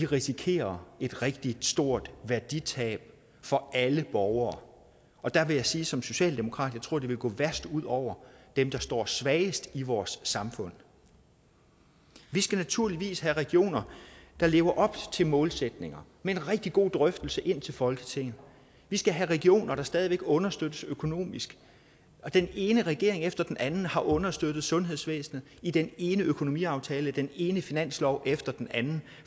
risikerer et rigtig stort værditab for alle borgere og der vil jeg sige som socialdemokrat at jeg tror det vil gå værst ud over dem der står svagest i vores samfund vi skal naturligvis have regioner der lever op til målsætninger med en rigtig god drøftelse ind til folketinget vi skal have regioner der stadig væk understøttes økonomisk og den ene regering efter den anden har understøttet sundhedsvæsenet i den ene økonomiaftale og den ene finanslov efter den anden